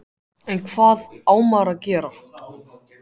En hvað á maður að gera?